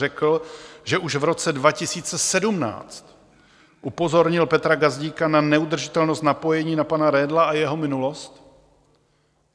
řekl, že už v roce 2017 upozornil Petra Gazdíka na neudržitelnost napojení na pana Redla a jeho minulost.